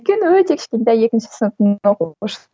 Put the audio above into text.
өйткені өте кішкентай екінші сыныптың